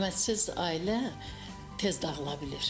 Hörmətsiz ailə tez dağıla bilir.